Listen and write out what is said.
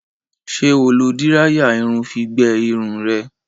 Ṣé o lo díráyà irun fi gbẹ irun rẹ?